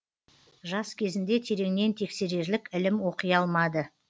жас кезінде тереңнен тексерерлік ілім оқи алмады